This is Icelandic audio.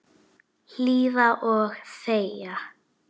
Hlýða og þegja.